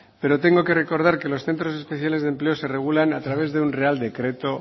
pero tengo que recordar que los centros especiales de empleo se regulan a través de un real decreto